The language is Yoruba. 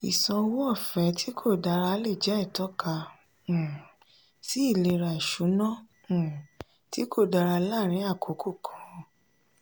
ìṣàn owó ọ̀fẹ́ tí kò dára lè jẹ́ ìtọ́ka um sí ìlera ìṣúná um tí kò dára láàárín àkókò kan.